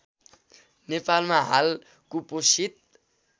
नेपालमा हाल कुपोषित